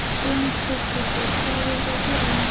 Hrund Þórsdóttir: Hvað eruð þið að gera hérna í dag?